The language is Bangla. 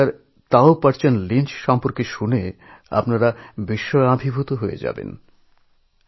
আমেরিকার তাও পর্চন Lynchএর কথা শুনে আপনারা আশ্চর্য হয়ে যাবেন